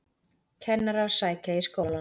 Kennarar sækja í skólana